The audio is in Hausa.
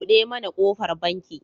Buɗe mana kofar banki.